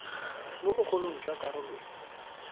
mo bogolong jwa karolo e